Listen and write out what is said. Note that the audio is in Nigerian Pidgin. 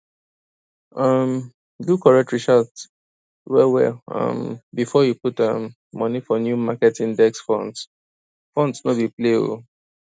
um do correct research well well um before you put um money for new market index funds funds no be play oh